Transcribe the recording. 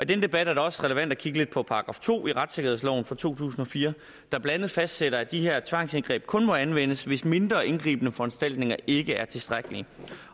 den debat er det også relevant at kigge lidt på § to i retssikkerhedsloven fra to tusind og fire der blandt andet fastsætter at de her tvangsindgreb kun må anvendes hvis mindre indgribende foranstaltninger ikke er tilstrækkelige